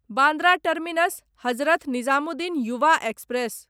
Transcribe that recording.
Bandra terminus Hazrat Nizamuddin Yuva express